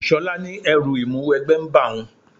Ṣọlá ní ẹrú Ìmúwẹgbẹ́ ń ba òun